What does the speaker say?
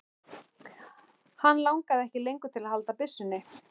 Hann langaði ekki lengur til að halda byssunni.